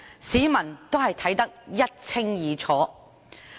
市民也看得一清二楚。